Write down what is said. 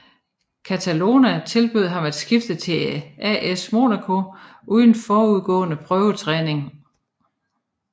Catalano tilbød ham at skifte til AS Monaco uden forudgående prøvetræning